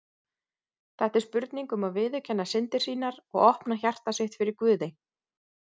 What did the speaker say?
Þetta er spurning um að viðurkenna syndir sínar og opna hjarta sitt fyrir Guði.